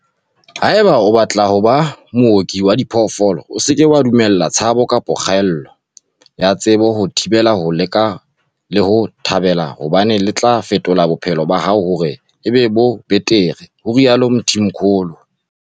"Haeba o batla ho ba mooki wa diphoofolo, o se ke wa dumella tshabo kapa kgaello ya tsebo ho o thibela ho le leka le ho le thabela hobane le tla fetola bophelo ba hao hore e be bo betere," ho rialo Mthimkhulu.